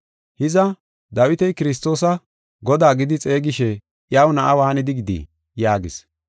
“Hiza, Dawiti Kiristoosa, ‘Godaa gidi xeegishe iyaw na7a waanidi gidii?’ ” yaagis.